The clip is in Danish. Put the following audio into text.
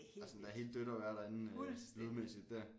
At sådan helt dødt at være derinde øh lydmæssigt dér